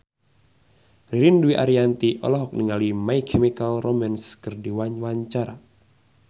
Ririn Dwi Ariyanti olohok ningali My Chemical Romance keur diwawancara